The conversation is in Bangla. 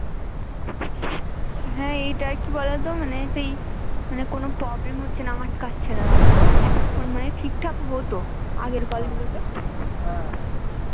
হ্যা এইটার কি বলতো মানে সেই কোনো problem হচ্ছে না আটকাচ্ছে না এতক্ষন ঠিক ঠাক হতো আগের call গুলো তে